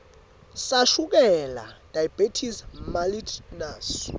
sashukela diabetes mellitus